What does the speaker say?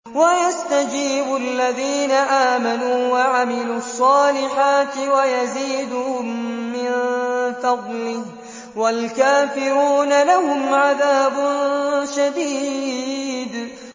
وَيَسْتَجِيبُ الَّذِينَ آمَنُوا وَعَمِلُوا الصَّالِحَاتِ وَيَزِيدُهُم مِّن فَضْلِهِ ۚ وَالْكَافِرُونَ لَهُمْ عَذَابٌ شَدِيدٌ